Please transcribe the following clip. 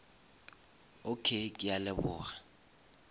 okay ke a leboga